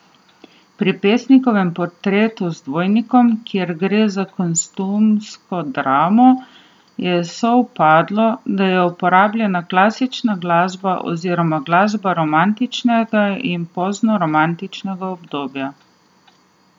Pri Pesnikovem portretu z dvojnikom, kjer gre za kostumsko dramo, je sovpadlo, da je uporabljena klasična glasba oziroma glasba romantičnega in poznoromantičnega obdobja.